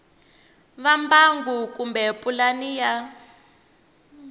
va mbangu kumbe pulani ya